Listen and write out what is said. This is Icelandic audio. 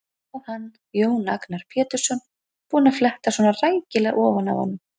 Og hann, Jón Agnar Pétursson, búinn að fletta svona rækilega ofan af honum!